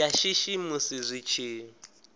ya shishi musi zwi tshi